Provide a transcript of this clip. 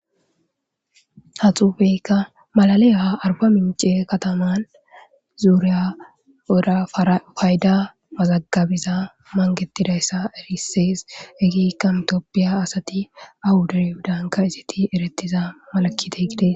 ha xuufeykka malaleyha arba mince kataman zuuriya oda fayda mazagabiza mangetidayssa erisees egiikkan itooppiya asati awudaryhudanka iziti eretiza malakite gide